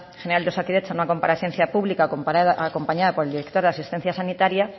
general de osakidetza en una comparecencia pública acompañada por el director de asistencia sanitaria